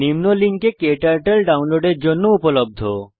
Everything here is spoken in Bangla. httpedukdeorgkturtle এ ক্টার্টল ডাউনলোডের জন্য উপলব্ধ